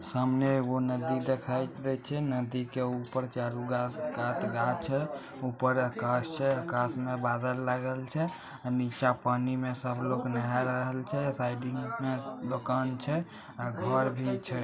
सामने में एगो नदी दिखाई देत छे नदी के ऊपर घास छे ऊपर आकाश छे आकाश में बादल लागल छे नीचा पानी में सब लोग नहाइल छे साइड में दुकान छे और घर भी छे।